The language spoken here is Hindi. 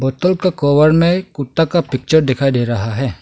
बोतल का कवर में कुत्ता का पिक्चर दिखाई दे रहा है।